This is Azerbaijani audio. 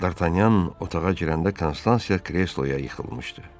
Dartanyan otağa girəndə Konstansiya kresloya yıxılmışdı.